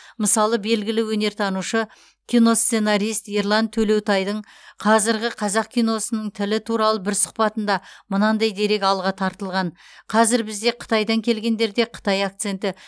мысалы белгілі өнертанушы киносценарист ерлан төлеутайдың қазіргі қазақ киносының тілі туралы бір сұқбатында мынандай дерек алға тартылған қазір бізде қытайдан келгендерде қытай акценті